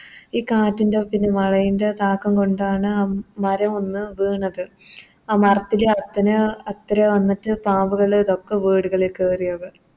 ഈ കാറ്റിൻറെ പിന്നെ മഴയിൻറെ താക്കാം കൊണ്ടാണ് ആ മരമൊന്ന് വീണത് ആ മരത്തിലെ അത്രേ വന്നിട്ട് പാമ്പ്കള് ഇതൊക്കെ വീടുകളിൽ കേറിയത്